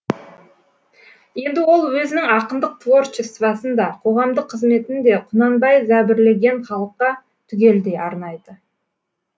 енді ол өзінің ақындық творчествосын да қоғамдық қызметін де құнанбай зәбірлеген халыққа түгелдей арнайды